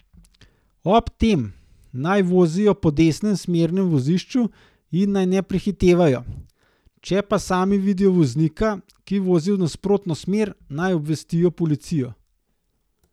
Ob tem naj vozijo po desnem smernem vozišču in naj ne prehitevajo, če pa sami vidijo voznika, ki vozi v nasprotno smer, naj obvestijo policijo.